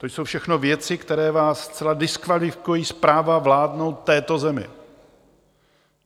To jsou všechno věci, které vás zcela diskvalifikují z práva vládnout této zemi.